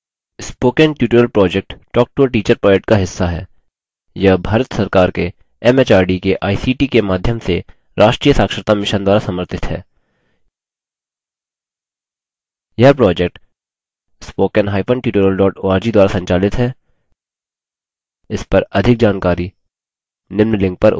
spoken tutorial project talktoateacher project का हिस्सा है यह भारत सरकार के एमएचआरडी के आईसीटी के माध्यम से राष्ट्रीय साक्षरता mission द्वारा समर्थित है यह project